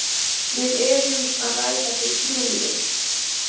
Við erum að ræða við þrjú lið.